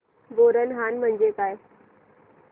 बोरनहाण म्हणजे काय